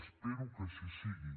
espero que així sigui